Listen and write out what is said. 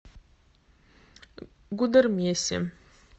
гудермесе